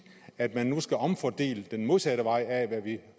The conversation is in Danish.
at man nu skal omfordele den modsatte vej af hvad vi